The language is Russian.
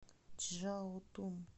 чжаотун